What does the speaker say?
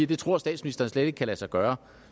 det tror statsministeren slet ikke kan lade sig gøre